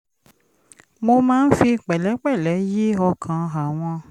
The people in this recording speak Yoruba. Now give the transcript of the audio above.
mo máa ń fi pẹ̀lẹ́pẹ̀lẹ́ yí ọkàn àwọn